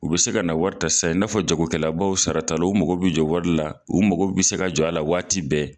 U bɛ se ka na wari ta sisan i n'a fɔ jagokɛlabaw, saratalaw, u mago bɛ jɔ wari la, u mago bɛ se ka jɔ a la waati bɛɛ.